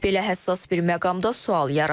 Belə həssas bir məqamda sual yaranır.